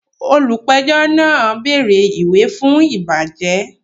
Olùpẹ̀jọ́ náà bẹ̀rẹ̀ ìwà fún ìbàjẹ́